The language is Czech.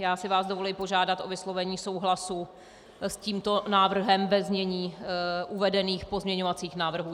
Já si vás dovoluji požádat o vyslovení souhlasu s tímto návrhem ve znění uvedených pozměňovacích návrhů.